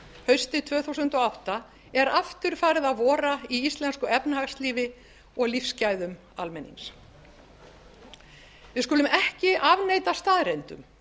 haustið tvö þúsund og átta er aftur farið að vora í íslensku efnahagslífi og lífsgæðum almennings við skulum ekki afneita staðreyndum